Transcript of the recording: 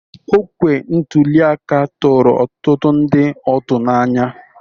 Okwe ntuli aka tụrụ ọtụtụ ndị otu n'anya.